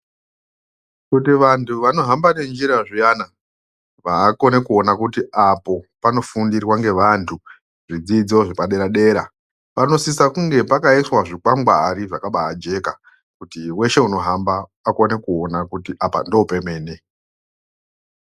Kuti vantu vanohamba ne njira zviyana vakone kuona kuti apo pano fundirwa nge vantu zvidzidzo zvepa dera dera pano sisa kunge pakaiswa zvi kwangwari zvakabai jeka kuti weshe unohamba akone kuona kuti apa ndo pemene.